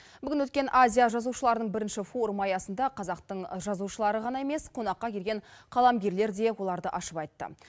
бүгін өткен азия жазушыларының бірінші форумы аясында қазақтың жазушылары ғана емес қонаққа келген қаламгерлер де оларды ашып айтты